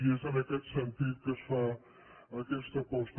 i és en aquest sentit que es fa aquesta aposta